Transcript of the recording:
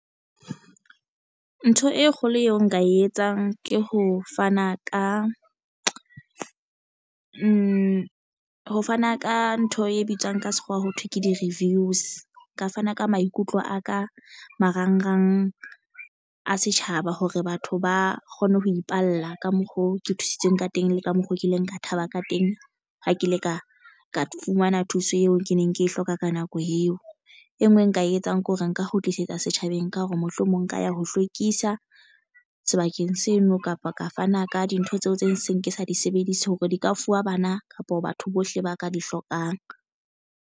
Ntho e kgolo eo nka e etsang ke ho fana ka ntho e bitswang ka sekgowa ho thwe ke di-reviews nka fana ka maikutlo a ka marangrang a setjhaba hore batho ba kgone ho ipalla ka mokgo ke thusitsweng ka teng le ka mokgo ke ileng ka thaba ka teng ha ke ile ka fumana thuso eo ke neng ke e hloka ka nako eo, e nngwe e nka e etsang ke hore nka kgutlisetsa setjhabeng ka ho re mohlomong nka ya ho hlwekisa sebakeng sena kapa ka fana ka dintho tseo tse seng ke sa di sebedise hore di ka fuwa bana kapa batho bohle ba ka di hlokang.